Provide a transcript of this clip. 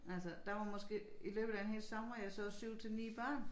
Altså der var måske i løbet af en hel sommer jeg så 7 til 9 børn